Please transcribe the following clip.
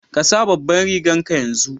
Ka sa babanrigan ka yanzu!